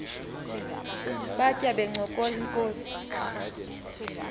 batya bencokola inkos